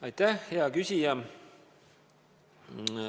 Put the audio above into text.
Aitäh, hea küsija!